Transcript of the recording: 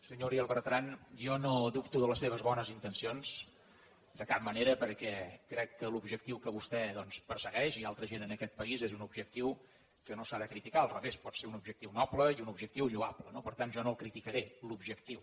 senyor uriel bertran jo no dubto de les seves bones intencions de cap manera perquè crec que l’objectiu que vostè doncs persegueix i altra gent en aquest país és un objectiu que no s’ha de criticar al revés pot ser un objectiu noble i un objectiu lloable no per tant jo no el criticaré l’objectiu